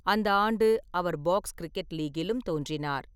அந்த ஆண்டு, அவர் பாக்ஸ் கிரிக்கெட் லீக்கிலும் தோன்றினார்.